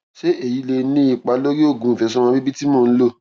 ṣé èyí lè ní ipa lórí oògùn ìfètòsọmọbíbí tí mò ń lò